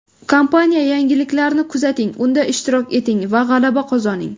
Kompaniya yangiliklarini kuzating, unda ishtirok eting va g‘alaba qozoning!